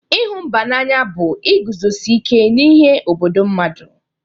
Ịhụ mba n'anya bụ iguzosi ike n'ihe obodo mmadụ.